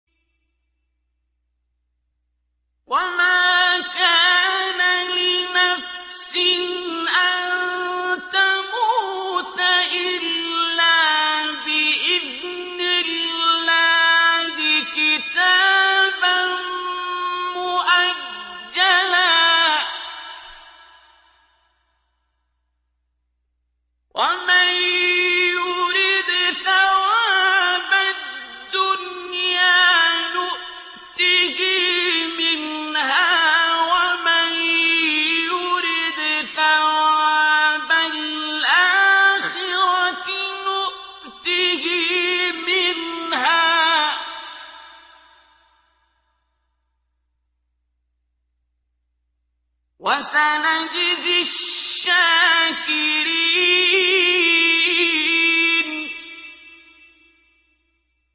وَمَا كَانَ لِنَفْسٍ أَن تَمُوتَ إِلَّا بِإِذْنِ اللَّهِ كِتَابًا مُّؤَجَّلًا ۗ وَمَن يُرِدْ ثَوَابَ الدُّنْيَا نُؤْتِهِ مِنْهَا وَمَن يُرِدْ ثَوَابَ الْآخِرَةِ نُؤْتِهِ مِنْهَا ۚ وَسَنَجْزِي الشَّاكِرِينَ